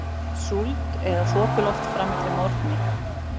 Súld eða þokuloft fram eftir morgni